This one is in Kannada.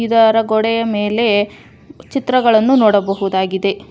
ಇದರ ಗೋಡೆಯ ಮೇಲೆ ಚಿತ್ರಗಳನ್ನು ನೋಡಬಹುದಾಗಿದೆ.